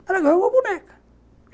Ela ganhou uma boneca.